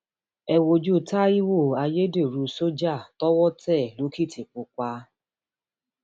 ẹ wojú taiwo ayédèrú sójà tọwọ tẹ lòkìtìpápá